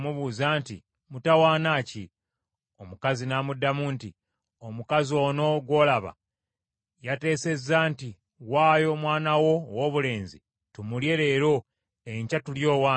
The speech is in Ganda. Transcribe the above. Era kwe ku mubuuza nti, “Mutawaana ki?” Omukazi n’amuddamu nti, “Omukazi ono gw’olaba yateesezza nti, ‘Waayo omwana wo owoobulenzi tumulye leero, enkya tulye owange.’